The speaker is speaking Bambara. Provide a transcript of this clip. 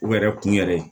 U yɛrɛ kun yɛrɛ